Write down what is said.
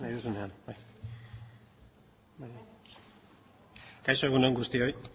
zurea da hitza kaixo egun on guztioi